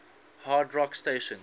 hard rock stations